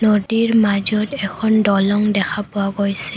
নদীৰ মাজত এখন দলং দেখা পোৱা গৈছে।